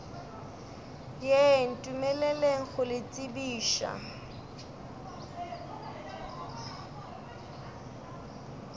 ye ntumeleleng go le tsebiša